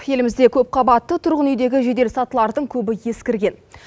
елімізде көп қабатты түрғын үйдегі жедел сатылардың көбі ескірген